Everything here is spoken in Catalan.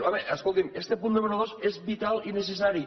home escolti’m este punt número dos és vital i necessari